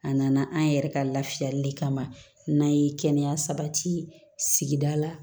A nana an yɛrɛ ka lafiyali kama n'a ye kɛnɛya sabati sigida la